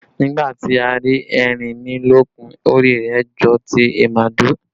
Nígbà tí a rí erinmilókun, orí rẹ jọ ti ìmàdò